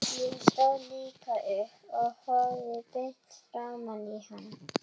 Ég stóð líka upp og horfði beint framan í hana.